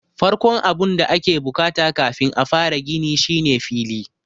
Farkon abun da ake bukata kafin a fara gini shine fili.